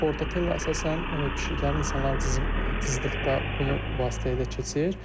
Bartonella əsasən pişiklərin insanlara cızdıqda bunu vasitəsilə keçir.